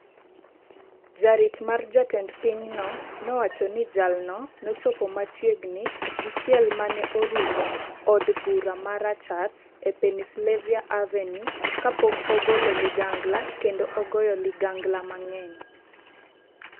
Jarit mar jatend pinyno nowacho ni jalno nochopo machiegni gi chiel mane orumo od bura ma rachar e Pennsylvania Avenue kapok ogolo ligangla kendo ogoyo ligangla mang'eny.